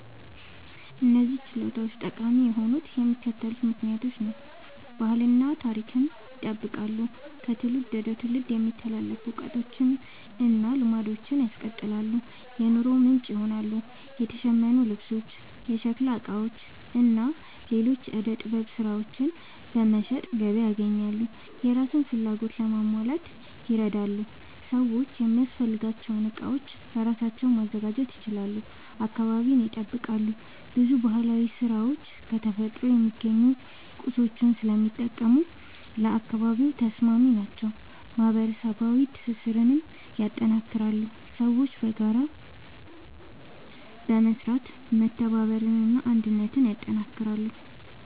እነዚህ ችሎታዎች ጠቃሚ የሆኑት በሚከተሉት ምክንያቶች ነው፦ ባህልን እና ታሪክን ይጠብቃሉ – ከትውልድ ወደ ትውልድ የሚተላለፉ እውቀቶችን እና ልማዶችን ያስቀጥላሉ። የኑሮ ምንጭ ይሆናሉ – የተሸመኑ ልብሶች፣ የሸክላ ዕቃዎች እና ሌሎች የዕደ ጥበብ ሥራዎች በመሸጥ ገቢ ያስገኛሉ። የራስን ፍላጎት ለማሟላት ይረዳሉ – ሰዎች የሚያስፈልጋቸውን ዕቃዎች በራሳቸው ማዘጋጀት ይችላሉ። አካባቢን ይጠብቃሉ – ብዙ ባህላዊ ሥራዎች ከተፈጥሮ የሚገኙ ቁሳቁሶችን ስለሚጠቀሙ ለአካባቢ ተስማሚ ናቸው። ማህበረሰባዊ ትስስርን ያጠናክራሉ – ሰዎች በጋራ በመስራት መተባበርን እና አንድነትን ያጠናክራሉ።